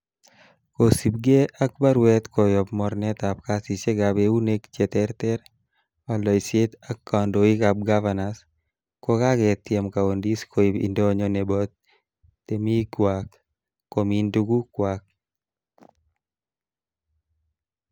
Kosiibge ak baruet koyob mornetab kasisiekab eunek che terter, oldoisiet ak kandoik ab gavanas, ko kaketiem coundis koib indonyo nebo temikywak komin tugukwak.